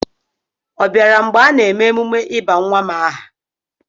Ọ bịara mgbe a na-eme emume ịba nwa m aha?